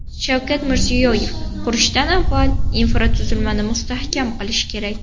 Shavkat Mirziyoyev: Qurishdan avval infratuzilmani mustahkam qilish kerak.